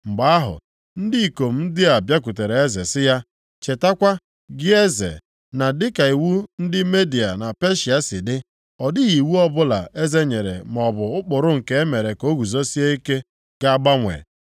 Mgbe ahụ, ndị ikom ndị a bịakwutere eze sị ya, “Chetakwa, gị eze, na dịka iwu ndị Midia na Peshịa si dị, ọ dịghị iwu ọbụla eze nyere maọbụ ụkpụrụ nke e mere ka o guzosie ike ga-agbanwe.”